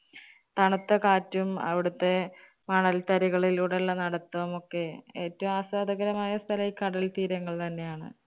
തണുത്ത കാറ്റും, അവിടുത്തെ മണൽത്തരികളിലൂടെ ഉള്ള നടുത്തവും ഒക്കെ, ഏറ്റവും ആസ്വാദകരമായ ഒരു സ്ഥലം ഈ കടൽ തീരങ്ങൾ തന്നെ ആണ്.